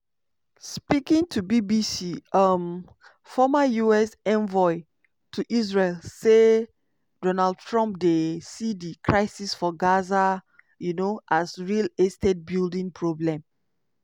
speaking to bbc um former us envoy to israel say donald trump dey see di crisis for gaza um as "real estate building problem".